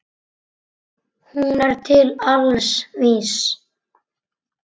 Hún er til alls vís.